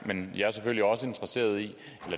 men jeg er selvfølgelig også interesseret i